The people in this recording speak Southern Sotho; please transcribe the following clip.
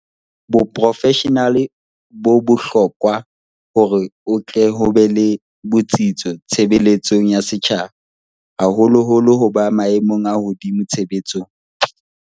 Boprofeshenale bo bohlo kwa hore ho tle ho be le botsitso tshebeletsong ya setjhaba, haholoholo ho ba maemong a hodimo tshebetsong.